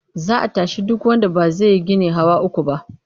Za a tashi duk wanda ba zai yi gini hawa uku ba.